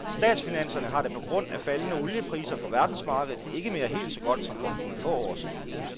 Statsfinanserne har det på grund af faldende oliepriser på verdensmarkedet ikke mere helt så godt som for nogle få år siden.